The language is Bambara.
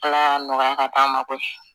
Ala y'a nɔgɔya ka k'a ma koyi